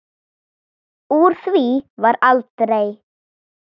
Úr því varð aldrei.